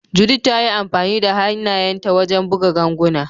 Judith ta yi amfani da hannayenta wajen buga ganguna.